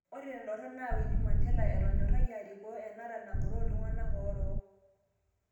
Ore tendorop naa Winnie Mandela etonyorayie arikoo enara nangoro ltunganak orok.